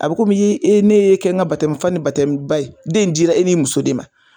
A bɛ komi ye e ne y'e kɛ n ka fa ni ba ye, den in diira e ni muso de ma.